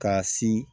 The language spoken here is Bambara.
K'a si